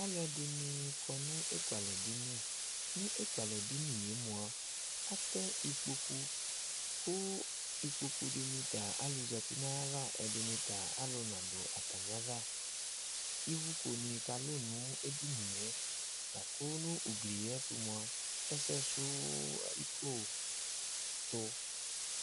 Alʋɛdìní kɔ nʋ ekʋalɛ dìní Nʋ ekʋalɛ dìní ye mʋa atɛ ikpoku kʋ ikpoku dìní ta alu zɛti nʋ ava Ɛdiní ta alu nadu atami ava Ivʋko kalu nʋ edini ye lakʋ nʋ ugli ye ɛtu mʋa ɛsɛsuko tu